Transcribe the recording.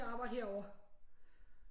At arbejde herovre